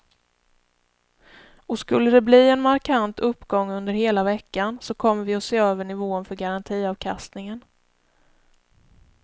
Och skulle de bli en markant uppgång under hela veckan så kommer vi att se över nivån för garantiavkastningen.